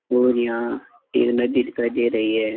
और यहाँ एक नदी दिखाई दे रही है।